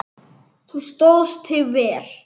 Þú stóðst þig vel.